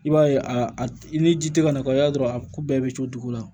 I b'a ye a a i ni ji tɛ ka na kɔ i b'a dɔn a ko bɛɛ bɛ codogo la